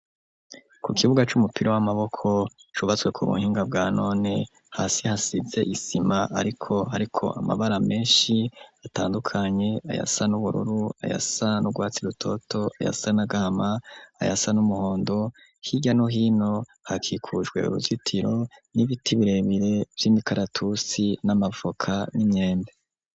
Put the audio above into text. Ku kibuga c'umupira w'amaboko cubatswe ku buhinga bwa none, hasi hasize isima, ariko hariko amabara menshi atandukanye: ayasa n'ubururu, ayasa n'urwatsi rutoto, ayasa n'agahama, ayasa n'umuhondo, hirya no hino hakikujwe uruzitiro n'ibiti birebire vy'imikaratusi n'amavoka n'inyembe.